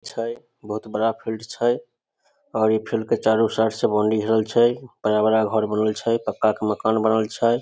छै बहुत बड़ा फील्ड छै और इ फील्ड के चारों साइड से बाउंड्री घेरल छै पहला बड़ा घर बनल छै पक्का के मकान बनल छै।